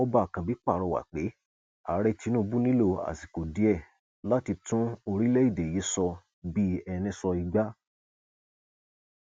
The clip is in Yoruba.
ọba ákànbí pàrọwà pé ààrẹ tinubu nílò àsìkò díẹ láti tún orílẹèdè yìí sọ bíi ẹni sọ igba